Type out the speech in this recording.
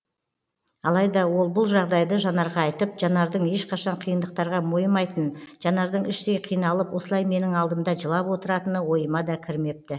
алайда ол бұл жағдайды жанарға айтып жанардың ешқашан қиындықтарға мойымайтын жанардың іштей қиналып осылай менің алдымда жылап отыратыны ойыма да кірмепті